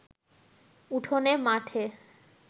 উঠোনে, মাঠে